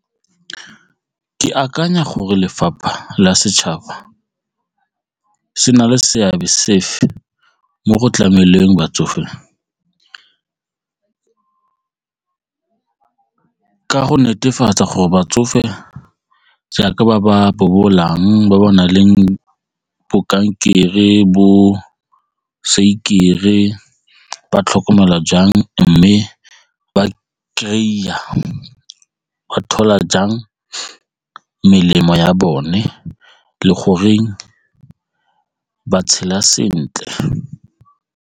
Ke akanya gore lefapha la setšhaba se na le seabe sefe mo go tlameleng batsofe, ka go netefatsa gore ba tsofe jaaka ba ba bobolang ba ba nang le bo kankere bo ba tlhokomelwa jang mme ba thola jang melemo ya bone le goreng ba tshela sentle.